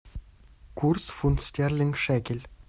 курс фунт стерлинг шекель